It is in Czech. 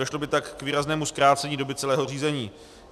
Došlo by tak k výraznému zkrácení doby celého řízení.